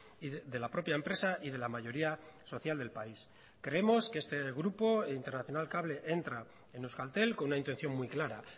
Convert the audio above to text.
y de la propia empresa y de la mayoría social del país creemos que este grupo internacional cable entra en euskaltel con una intención muy clara